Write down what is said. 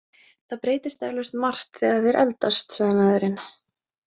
Það breytist eflaust margt þegar þeir eldast, sagði maðurinn.